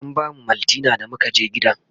an bamu maltina da muka je gidan